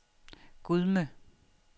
Gudme